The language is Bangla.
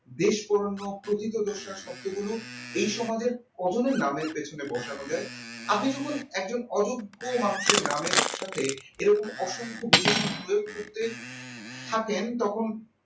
দেশ পড়ানো পতিতদশা শব্দগুলো এই সমাজের কজনের নামের পেছনে বসানো যায় আগে যখন একজন অযোগ্য মানুষের নামের সাথে এরকম অসংখ্য বিশেষণপ্রয়োগ করতে থাকেন তখন